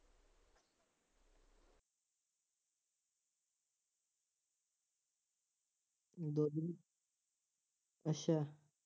ਅੱਛਾ